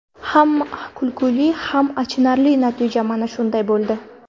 Ham kulguli, ham achinarli natija mana shunday bo‘ldi.